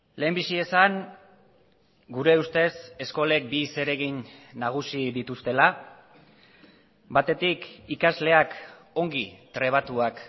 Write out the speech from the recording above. lehenbizi esan gure ustez eskolek bi zeregin nagusi dituztela batetik ikasleak ongi trebatuak